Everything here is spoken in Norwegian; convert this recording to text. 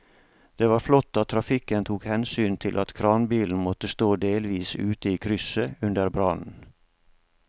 Det var flott at trafikken tok hensyn til at kranbilen måtte stå delvis ute i krysset under brannen.